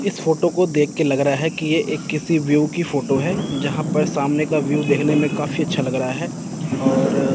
इस फोटो को देख के लग रहा है कि यह एक किसी व्यू की फोटो है यहां पर सामने का व्यू देखने में काफी अच्छा लग रहा है और--